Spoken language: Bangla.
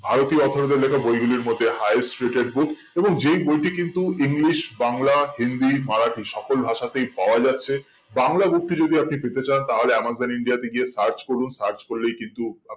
আরতি অথোরের লেখা বই গুলির মধ্যে highest রেটের book এবং যে বইটি কিন্তু english বাংলা হিন্দি মারাঠি সকল ভাষা তেই পাওয়া যাচ্ছে বাংলা book টি যদি আপনি পেতে চান তাহলে amazon india তে গিয়ে search করুন search করলেই কিন্তু